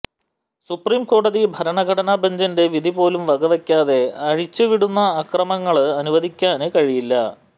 supreme കോടതി ഭരണഘടനാ ബഞ്ചിന്റെ വിധിപോലും വകവെക്കാതെ അഴിച്ചുവിടുന്ന അക്രമങ്ങള് അനുവദിക്കാന് കഴിയില്ല